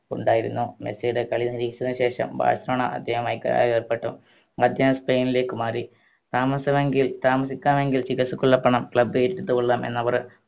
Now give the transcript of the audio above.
ഉണ്ടായിരുന്നു മെസ്സിയുടെ കളി നിരീക്ഷിച്ചതിന് ശേഷം ബാഴ്‌സലോണ അദ്ദേഹവുമായി കരാറിലേർപ്പെട്ടു സ്പൈൻലേക്ക് മാറി താമസമെങ്കിൽ താമസിക്കാനെങ്കിൽ ചികിത്സക്കുള്ള പണം club ഏറ്റെടുത്തു കൊള്ളാം എന്ന് അവർ